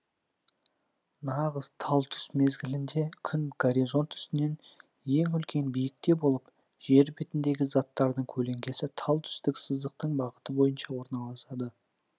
нағыз тал түс мезгілінде күн горизонт үстінен ең үлкен биіктікте болып жер бетіндегі заттардың көлеңкесі тал түстік сызықтың бағыты бойынша орналасады